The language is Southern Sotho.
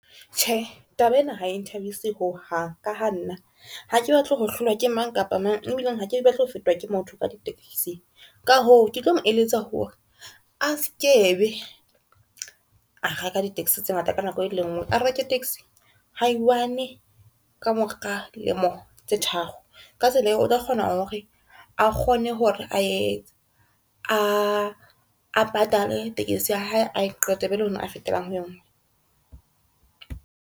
Tjhe, taba ena ha e nthabise ho hang ka ha nna hake batle ho hlolwa ke mang kapa mang ebileng ha ke batle ho fetwa ke motho ka di-taxi. Ka hoo, ke tlo mo eletsa hore a se ke be a reka di-taxi tse ngata ka nako e lengwe. A reke taxi ha i1 kamora lemo tse tharo ka tsela eo, o tla kgona hore a kgone hore a etse a patale taxi ya hae a e qete e be le hona a fetelang ho engwe.